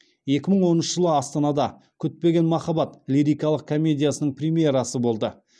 екі мың оныншы жылы астанада күтпеген махаббат лирикалық комедиясының премьерасы болды